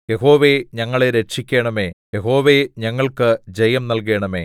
യഹോവേ ഞങ്ങളെ രക്ഷിക്കണമേ യഹോവേ ഞങ്ങൾക്ക് ജയം നല്കണമേ